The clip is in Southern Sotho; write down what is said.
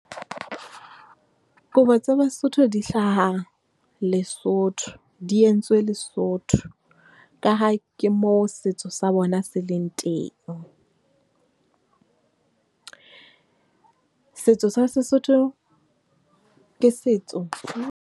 Kobo tsa Basotho di hlaha Lesotho, di entswe Lesotho, ka ha ke moo setso sa bona se leng teng. Setso sa Sesotho ke setso .